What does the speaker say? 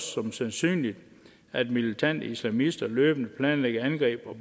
som sandsynligt at militante islamister løbende planlægger angreb